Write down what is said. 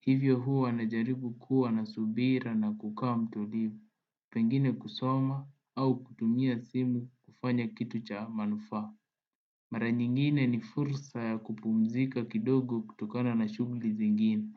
hivyo huwa najaribu kuwa na subira na kukaa mtulivu pengine kusoma au kutumia simu kufanya kitu cha manufaa mara nyingine ni fursa ya kupumzika kidogo kutokana na shughuli zingine.